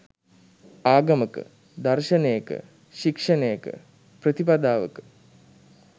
ආගමක, දර්ශනයක, ශික්‍ෂණයක, ප්‍රතිපදාවක